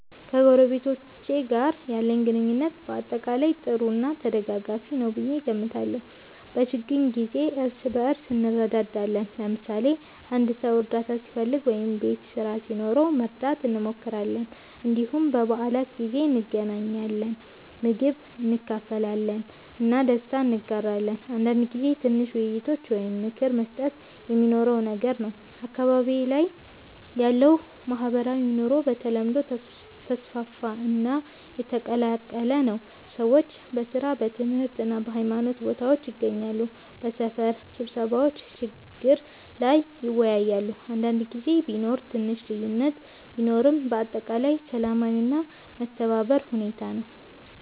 ከጎረቤቶቼ ጋር ያለኝ ግንኙነት በአጠቃላይ ጥሩ እና ተደጋጋፊ ነው ብዬ እገምታለሁ። በችግኝ ጊዜ እርስ በእርስ እንረዳዳለን፣ ለምሳሌ አንድ ሰው እርዳታ ሲፈልግ ወይም ቤት ስራ ሲኖረው መርዳት እንሞክራለን። እንዲሁም በበዓላት ጊዜ እንገናኛለን፣ ምግብ እንካፈላለን እና ደስታ እንጋራለን። አንዳንድ ጊዜ ትንሽ ውይይቶች ወይም ምክር መስጠት የሚኖረውም ነገር ነው። አካባቢዬ ላይ ያለው ማህበራዊ ኑሮ በተለምዶ ተስፋፋ እና የተቀላቀለ ነው። ሰዎች በሥራ፣ በትምህርት እና በሃይማኖት ቦታዎች ይገናኛሉ፣ በሰፈር ስብሰባዎችም ችግር ላይ ይወያያሉ። አንዳንድ ጊዜ ቢኖር ትንሽ ልዩነት ቢኖርም በአጠቃላይ ሰላማዊ እና የመተባበር ሁኔታ ነው።